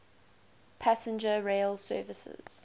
passenger rail services